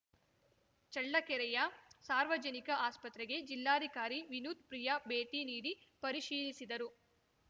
ಚಳ್ಳಕೆರೆಯ ಸಾರ್ವಜನಿಕ ಆಸ್ಪತ್ರೆಗೆ ಜಿಲ್ಲಾಧಿಕಾರಿ ವಿನೂತ್‌ ಪ್ರಿಯಾ ಭೇಟಿ ನೀಡಿ ಪರಿಶೀಲಿಸಿದರು